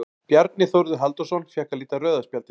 Bjarni Þórður Halldórsson fékk að líta rauða spjaldið.